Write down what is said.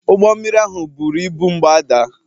Ụgbọ mmiri ahụ buru ibu m gbadaa